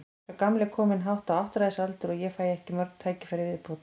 Sá gamli er kominn hátt á áttræðisaldur og ég fæ ekki mörg tækifæri í viðbót.